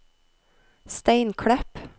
Steinklepp